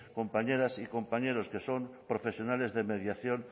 compañeras y compañeros que son profesionales de mediación